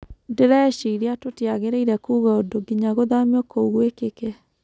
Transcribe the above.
Ndĩreciria tũtiagĩrĩ-ire kuga ũndũ ginya gũthamio kou gwĩkĩke.